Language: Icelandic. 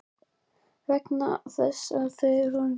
Það er þess vegna sem þau eru svo ægileg ásýndum.